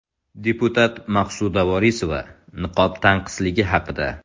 Deputat Maqsuda Vorisova niqob tanqisligi haqida.